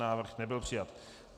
Návrh nebyl přijat.